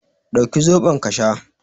Dauki zaɓon ka sha